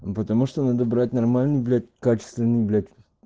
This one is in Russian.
потому что надо брать нормальный блять качественный блять